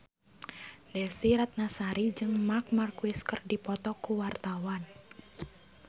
Desy Ratnasari jeung Marc Marquez keur dipoto ku wartawan